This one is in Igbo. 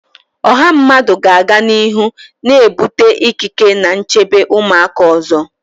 Ọha mmadụ ga-aga n'ihu na-ebute ikike na nchebe ụmụaka ụzọ